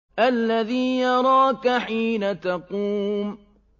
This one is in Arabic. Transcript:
الَّذِي يَرَاكَ حِينَ تَقُومُ